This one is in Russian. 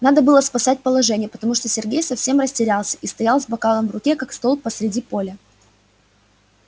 надо было спасать положение потому что сергей совсем растерялся и стоял с бокалом в руке как столб посреди поля